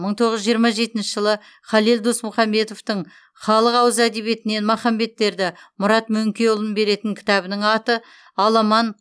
мың тоғыз жүз жиырма жетінші жылы халел досмұхамедовтің халық ауыз әдебиетінен махамбеттерді мұрат мөңкеұлын беретін кітабының аты аламан